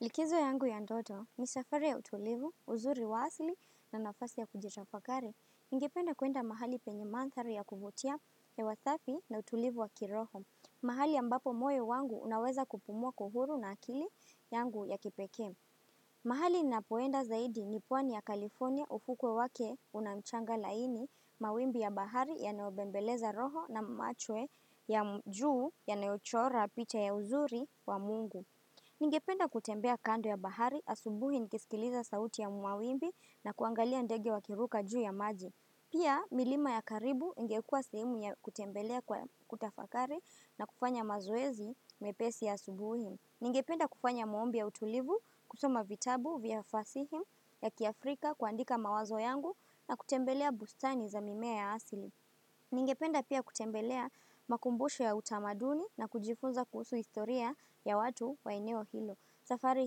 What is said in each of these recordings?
Likizo yangu ya ndoto, ni safari ya utulivu, uzuri wa asli na nafasi ya kujitafakari, ningependa kuenda mahali penye manthari ya kuvutia hewa safi na utulivu wa kiroho. Mahali ambapo moyo wangu unaweza kupumua kwa uhuru na akili yangu ya kipekee. Mahali ninapoenda zaidi ni pwani ya California ufukwe wake unamchanga laini, mawimbi ya bahari ya nayobembeleza roho na machwe ya mjuu ya nayochora picha ya uzuri wa mungu. Ningependa kutembea kando ya bahari asubuhi nikisikiliza sauti ya mwawimbi na kuangalia ndege wa kiruka juu ya maji. Pia milima ya karibu ingekua sehemu ya kutembelea kwa kutafakari na kufanya mazoezi mepesi ya asubuhi. Ningependa kufanya maombi ya utulivu, kusoma vitabu vya fasihi ya kiafrika kuandika mawazo yangu na kutembelea bustani za mimea ya asli. Ningependa pia kutembelea makumbusho ya utamaduni na kujifunza kuhusu historia ya watu wa eneo hilo. Safari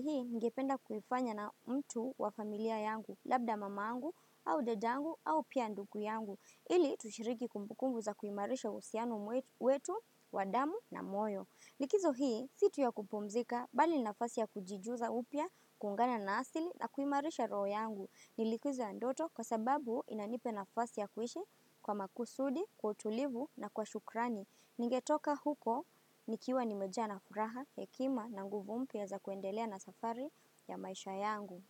hii, ningependa kuifanya na mtu wa familia yangu, labda mamangu, au dadangu, au pia ndugu yangu, ili tushiriki kumbukumbu za kuimarisha uhusiano wetu, wadamu na moyo. Likizo hii, si tu ya kupumzika, bali ni nafasi ya kujijuza upya, kuungana na asli na kuimarisha roho yangu. Ni likizo ya ndoto kwa sababu inanipa nafasi ya kuishi kwa makusudi, kwa utulivu na kwa shukrani. Ningetoka huko, nikiwa nimejaa na furaha, hekima na nguvu mpya za kuendelea na safari ya maisha yangu.